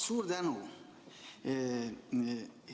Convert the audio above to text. Suur tänu!